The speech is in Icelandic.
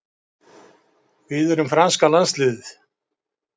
Við erum franska landsliðið.